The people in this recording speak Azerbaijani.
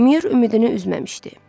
Mür ümidini üzməmişdi.